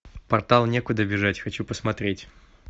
портал некуда бежать хочу посмотреть